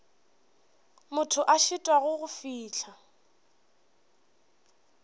motho a šitwago go fihla